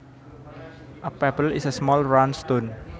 A pebble is a small round stone